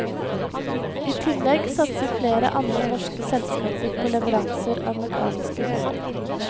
I tillegg satser flere andre norske selskaper på leveranser av mekanisk utstyr.